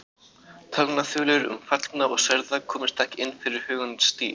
Talnaþulur um fallna og særða komust ekki inn fyrir hugans dyr.